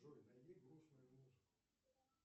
джой найди грустную музыку